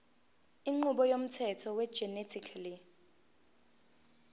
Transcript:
inqubo yomthetho wegenetically